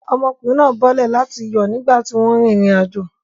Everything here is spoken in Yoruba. Ọmọkùnrin náà bọ́lẹ̀ láti yọ̀ nígbà tí wọ́n ń rin ìrìnàjò.